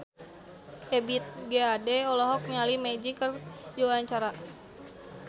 Ebith G. Ade olohok ningali Magic keur diwawancara